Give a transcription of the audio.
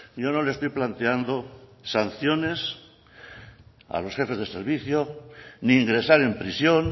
yo no le estoy planteando sanciones a los jefes de servicios ni ingresar en prisión